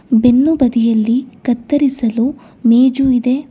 ಬೆನ್ನು ಬದಿಯಲ್ಲಿ ಕತ್ತರಿಸಲು ಮೇಜು ಇದೆ.